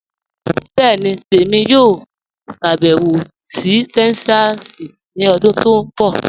Bẹẹni, èmi yóò ṣàbẹwò sí Texas ni ọ̀dún tó nbọ̀.